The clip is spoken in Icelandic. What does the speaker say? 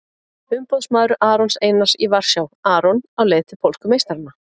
Umboðsmaður Arons Einars í Varsjá- Aron á leið til pólsku meistarana?